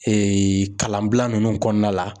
kalanbila ninnu kɔnɔna la.